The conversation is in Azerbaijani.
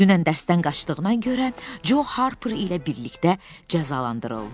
Dünən dərsdən qaçdığına görə Co Harper ilə birlikdə cəzalandırıldı.